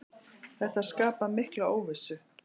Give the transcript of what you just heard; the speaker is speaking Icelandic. Þetta skapar mikla óvissu.